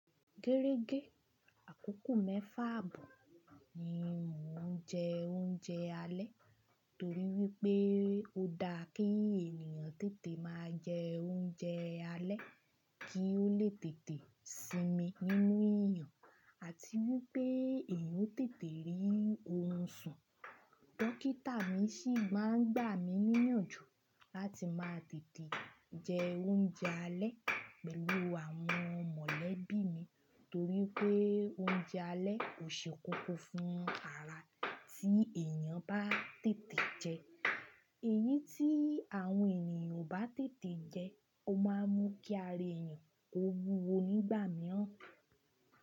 Gẹ́rẹ́gẹ́ àkókò mẹ́fà àbò ni mò ń jẹ oúnjẹ alẹ́ torí wípé ó dá kí ènìyàn tètè máa jẹ oúnjẹ alẹ́ kí ó lè tètè sinmi nínú ìyàn àti wípé èèyàn ó tètè rí ohun sùn. Dókítà mi ṣì máa ń gbà mí níyànjú láti máa tètè jẹ oúnjẹ alẹ́ pẹ̀lú àwọn mọ̀lẹ́bí mi torí pé oúnjẹ alẹ́ kò ṣe kókó fún ara tí èèyàn bá tètè jẹ é. Eyín tí àwọn ènìyàn ò bá tètè jẹ, ó máa ń mú kí ara èèyàn ó wúwo nígbà mìíràn.